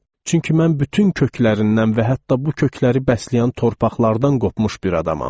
Çünki mən bütün köklərindən və hətta bu kökləri bəsləyən torpaqlardan qopmuş bir adamam.